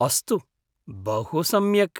अस्तु, बहुसम्यक्।